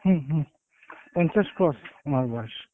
হম হম পঞ্চাশ cross অনার বয়স